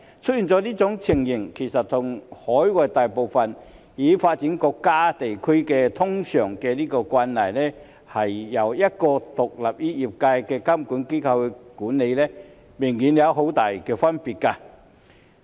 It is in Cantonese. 出現這種情況，其實和海外大部分已發展國家和地區通常由一個獨立於業界的監管機構監管明顯有很大的分別。